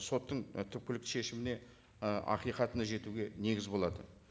соттың і түпкілікті шешіміне і ақиқатына жетуге негіз болады